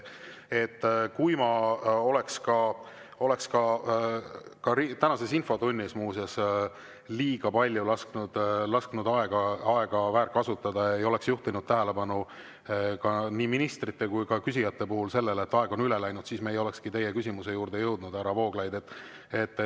Kui ma oleks ka tänases infotunnis muuseas liiga palju lasknud aega väärkasutada ega oleks juhtinud tähelepanu nii ministrite kui ka küsijate puhul sellele, et lubatud ajast on üle mindud, siis me ei olekski teie küsimuse juurde jõudnud, härra Vooglaid.